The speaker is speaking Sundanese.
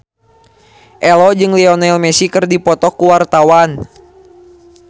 Ello jeung Lionel Messi keur dipoto ku wartawan